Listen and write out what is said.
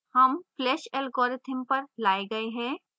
हम flash algorithm पर लाये गए हैं